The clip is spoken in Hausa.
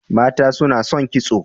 Mata suna son kitso.